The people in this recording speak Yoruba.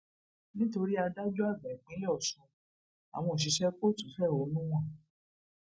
nítorí adájọàgbà ìpínlẹ ọṣún àwọn òṣìṣẹ kóòtù fẹhónú hàn